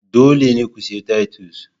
Dole ne ku sayi titus.